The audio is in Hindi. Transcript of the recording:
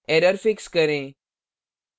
error fix करें